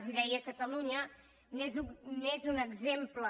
i deia catalunya n’és un exemple